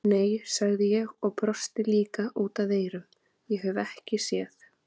Nei, sagði ég og brosti líka út að eyrum, ég hef ekki séð